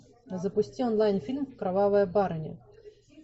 запусти онлайн фильм кровавая барыня